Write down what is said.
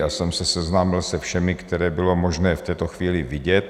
Já jsem se seznámil se všemi, které bylo možné v této chvíli vidět.